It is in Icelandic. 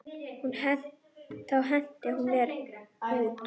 Þá henti hún mér út.